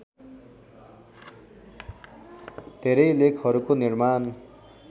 धेरै लेखहरूको निर्माण